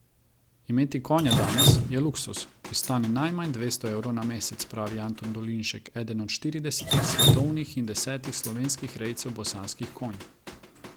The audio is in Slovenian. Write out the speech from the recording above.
Imeti konja danes, je luksuz, ki stane najmanj dvesto evrov na mesec, pravi Anton Dolinšek, eden od štiridesetih svetovnih in desetih slovenskih rejcev bosanskih konj.